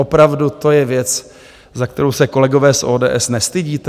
Opravdu, to je věc, za kterou se, kolegové z ODS, nestydíte?